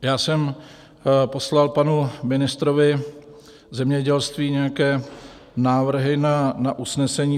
Já jsem poslal panu ministrovi zemědělství nějaké návrhy na usnesení.